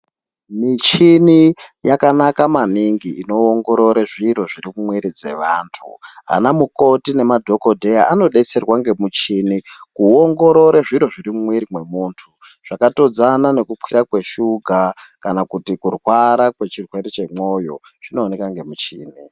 Michini yakanaka maningi inoongorore zviro zviri mumwiri dzevantu. Vanamukoti ngemadhokodheya vanodetserwa ngemuchini kuongorore zviro zviri mumwiri mwemunhu. Zvakatodzana nekukwira kweshuga kana kuti kurwara ngechirwere chemwoyo zvinooneka ngemuchini.